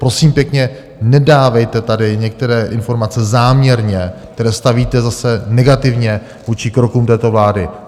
Prosím pěkně, nedávejte tady některé informace záměrně, které stavíte zase negativně vůči krokům této vlády.